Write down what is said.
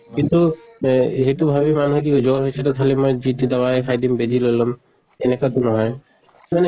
কিন্তু বে সেইটো ভাবি মানুহে কি জ্বৰ হৈছে তʼ খালি মই যি তি দাৱাই খাই দিম, বেজি লৈ লʼম এনেকা টো নহয়। মানে